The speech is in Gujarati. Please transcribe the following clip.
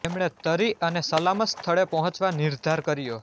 તેમણે તરી અને સલામત સ્થળે પહોંચવા નિર્ધાર કર્યો